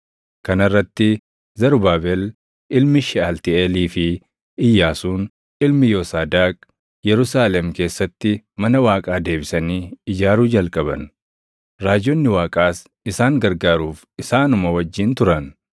Kana irratti Zarubaabel ilmi Sheʼaltiiʼeelii fi Iyyaasuun ilmi Yoosaadaaq Yerusaalem keessatti mana Waaqaa deebisanii ijaaruu jalqaban. Raajonni Waaqaas isaan gargaaruuf isaanuma wajjin turan.